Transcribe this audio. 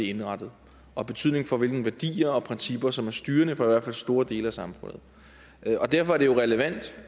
indrettet og betydning for hvilke værdier og principper som er styrende for i hvert fald store dele af samfundet derfor er det jo relevant